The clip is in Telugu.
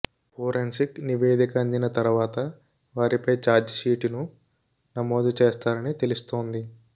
ఫోరెన్సిక్ నివేదిక అందిన తరువాత వారిపై ఛార్జిషీటును నమోదు చేస్తారని తెలుస్తోంది